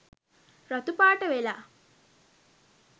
රතු පාට වෙලා